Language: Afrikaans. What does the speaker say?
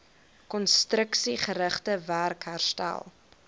konstruksiegerigte werk herstel